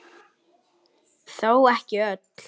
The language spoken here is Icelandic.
Þó ekki öll.